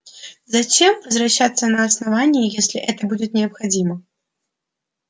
затем возвращайся на основание если это будет необходимо